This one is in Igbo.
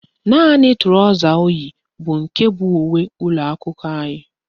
Naanị trọsa o yi bụ nke bụ uwe ụlọakwụkwọ anyị